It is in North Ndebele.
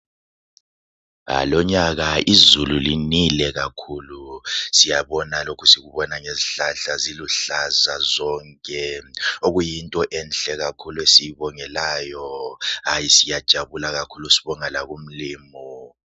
Lonyaka izulu linile kakhulu, siyabona lokhu, sikubona ngezihlahla ziluhlaza zonke, okuyinto enhle kakhulu esiyibongelayo , hayi !!siyajabula kakhulu sibonga laku mlimu.